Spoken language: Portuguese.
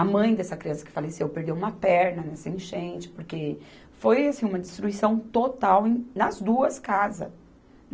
A mãe dessa criança que faleceu perdeu uma perna nessa enchente, porque foi assim uma destruição total em, nas duas casas.